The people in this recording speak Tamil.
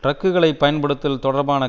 டிரக்குகளைப் பயன்படுத்தல் தொடர்பான